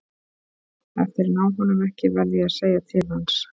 Ef þeir ná honum ekki verð ég að segja til hans.